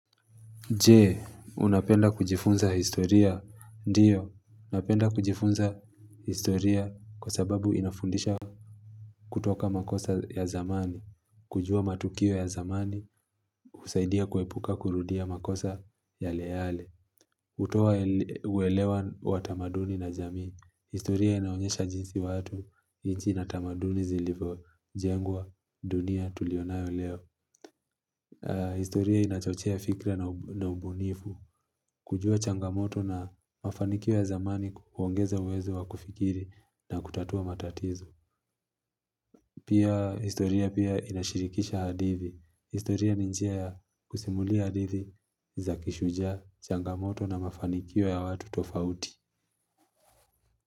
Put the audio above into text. Je, unapenda kujifunza historia, ndiyo, napenda kujifunza historia kwa sababu inafundisha kutoka makosa ya zamani, kujua matukio ya zamani, husaidia kuepuka kurudia makosa yale yale. Kutoa uelewa wa tamaduni na jamii. Historia inaonyesha jinsi watu nchi na tamaduni zilivo jengwa dunia tulionayo leo. Historia inachochea fikra na ubunifu. Kujua changamoto na mafanikio ya zamani kuongeza uwezo wa kufikiri na kutatua matatizo. Pia historia pia inashirikisha hadithi. Historia ni njia kusimulia hadithi za kishujaa changamoto na mafanikio ya watu tofauti.